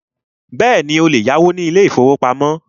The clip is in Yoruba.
Bẹ́ẹ̀ni, o lè yáwó ní ilé ìfọwọ́pamo.